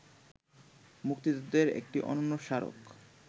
মুক্তিযুদ্ধের একটি অনন্য স্মারক